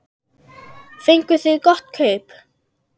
Fenguð þið gott kaup?